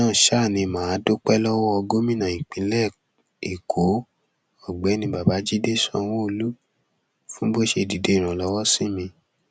lẹyìn náà ni mà á dúpẹ lọwọ gómìnà ìpínlẹ èkó ọgbẹni babájídé sanwóolu fún bó ṣe dìde ìrànlọwọ sí mi